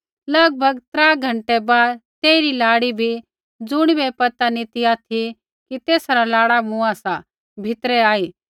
लगभग त्रा घँटै बाद तेइरी लाड़ी बी ज़ुणिबै ऐ पता नी ती ऑथि कि तेसा रा लाड़ा मुँआ सा भीतरै आई